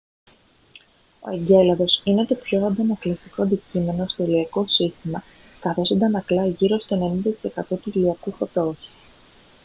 ο εγκέλαδος είναι το πιο ανακλαστικό αντικείμενο στο ηλιακό σύστημα καθώς ανακλά γύρω στο 90 τοις εκατό του ηλιακού φωτός